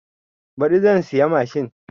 Baɗi zan siya mashin